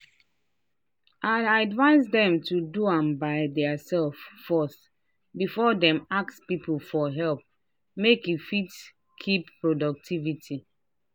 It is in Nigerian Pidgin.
i advice dem to do am by theirself first before dem ask people for help make e fit keep productivity.